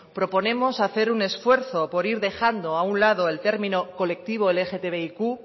proponemos hacer un esfuerzo por ir dejando a un lado el término colectivo lgtbiq